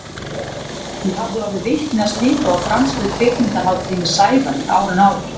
Ég hafði orðið vitni að slíku á franskri kvikmyndahátíð með Sævari árinu áður.